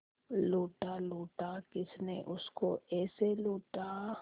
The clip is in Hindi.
लूटा लूटा किसने उसको ऐसे लूटा